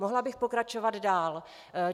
Mohla bych pokračovat dál.